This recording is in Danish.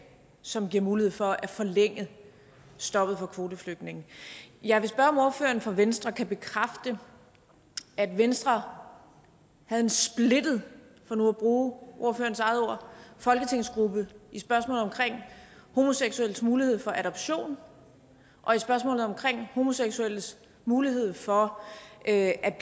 som giver mulighed for at forlænge stoppet for kvoteflygtninge jeg vil spørge om ordføreren for venstre kan bekræfte at venstre havde en splittet for nu at bruge ordførerens eget ord folketingsgruppe i spørgsmålet omkring homoseksuelles mulighed for adoption og i spørgsmålet omkring homoseksuelles mulighed for at